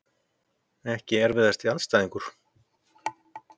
Ekki erfiðasti andstæðingur?